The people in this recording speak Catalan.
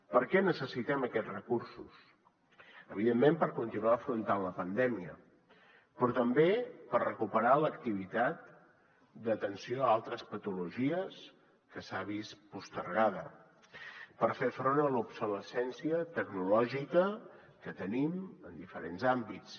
per què necessitem aquests recursos evidentment per continuar afrontant la pandèmia però també per recuperar l’activitat d’atenció a altres patologies que s’ha vist postergada per fer front a l’obsolescència tecnològica que tenim en diferents àmbits